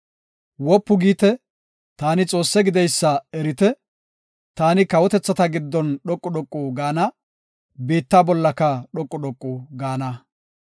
Wopu giite; taani Xoosse gideysa erite; taani kawotethata giddon dhoqu dhoqu gaana; biitta bollaka dhoqu dhoqu gaana.